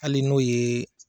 Hali n'o ye